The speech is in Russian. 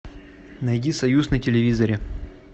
найди союз на телевизоре